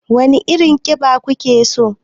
Wane irin kida kuke so?